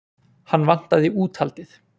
Hann vantaði úthaldið.